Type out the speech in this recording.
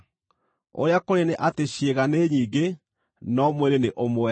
Ũrĩa kũrĩ nĩ atĩ ciĩga nĩ nyingĩ, no mwĩrĩ nĩ ũmwe.